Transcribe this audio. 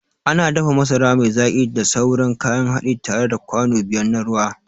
Ana dafa masara mai zaki da sauran kayan haɗi tare da kwano biyar na ruwa.